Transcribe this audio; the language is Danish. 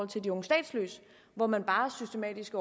til de unge statsløse hvor man bare systematisk